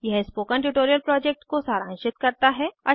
यह spoken tutorial project को सारांशित करता है